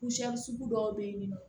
sugu dɔw bɛ yen nɔ